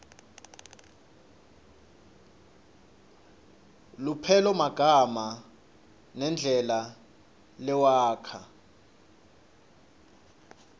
lupelomagama nendlela lewakha